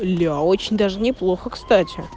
ляя очень даже неплохо кстати